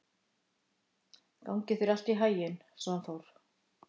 Gangi þér allt í haginn, Svanþór.